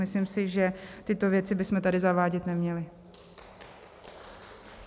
Myslím si, že tyto věci bychom tady zavádět neměli.